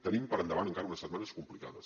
tenim per endavant encara unes setmanes complicades